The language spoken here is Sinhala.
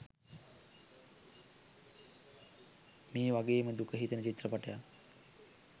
ඒ වගේම දුක හිතෙන චිත්‍රපටියක්